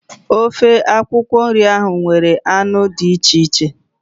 Ofe akwụkwọ nri ahụ nwere anụ dị iche iche